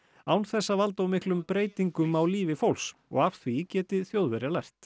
án þess að valda of miklum breytingum á lífi fólks og af því geti Þjóðverjar lært